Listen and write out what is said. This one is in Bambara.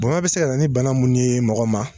Bonya bɛ se ka na ni bana minnu ye mɔgɔ ma.